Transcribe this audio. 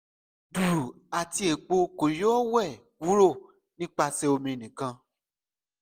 duru ati epo ko yoo wẹ kuro nipasẹ omi nikan